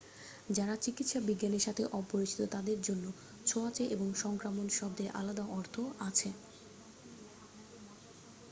যারা চিকিৎসা বিজ্ঞানের সাথে অপরিচিত তাদের জন্য ছোঁয়াচে এবং সংক্রামক শব্দের আলাদা অর্থ আছে